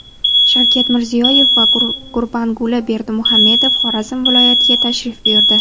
Shavkat Mirziyoyev va Gurbanguli Berdimuhamedov Xorazm viloyatiga tashrif buyurdi.